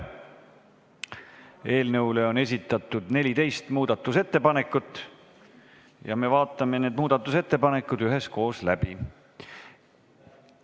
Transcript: Eelnõu kohta on esitatud 14 muudatusettepanekut ja me vaatame need üheskoos läbi.